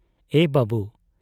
ᱮ ᱵᱟᱵᱹᱩ ᱾